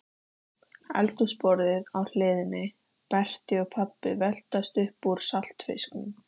Þá fann hann til sársaukafullrar, sigrihrósandi meðaumkunar.